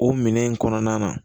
O minɛn in kɔnɔna na